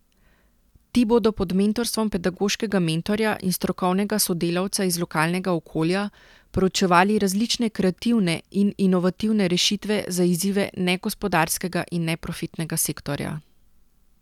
Ti bodo pod mentorstvom pedagoškega mentorja in strokovnega sodelavca iz lokalnega okolja proučevali različne kreativne in inovativne rešitve za izzive negospodarskega in neprofitnega sektorja.